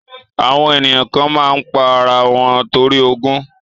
Àwọn ènìyàn kan má ń pa ara wọn torí ogún